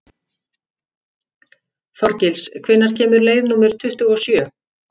Þorgils, hvenær kemur leið númer tuttugu og sjö?